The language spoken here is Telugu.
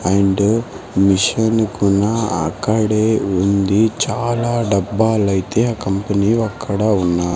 అండ్ మిషన్ కున్న అక్కడే ఉంది చాలా డబ్బాలైతే ఆ కంపెనీ వక్కడ ఉన్నాయి.